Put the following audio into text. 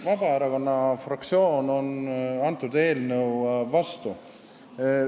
Vabaerakonna fraktsioon on antud eelnõu vastu.